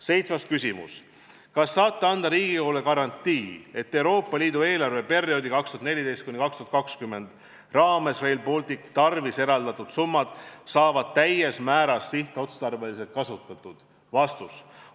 Seitsmes küsimus: kas saate anda Riigikogule garantii, et Euroopa Liidu eelarveperioodi 2014–2020 raames Rail Balticu tarvis eraldatud summad saavad täies mahus sihtotstarbeliselt kasutatud?